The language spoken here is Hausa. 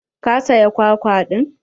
Ka saya kwakwa ɗin?